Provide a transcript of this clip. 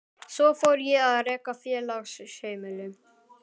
Svo fór ég að reka félagsheimili.